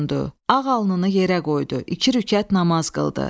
Ağ alnını yerə qoydu, iki rükət namaz qıldı.